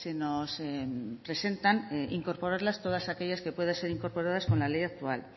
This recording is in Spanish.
nos presentan incorporarlas todas aquellas que puedan ser incorporadas con la ley actual